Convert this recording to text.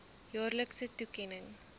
jaarlikse toekenning